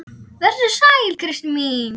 Vertu sæl, elsku Kristín mín.